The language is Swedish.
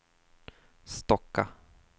Stocka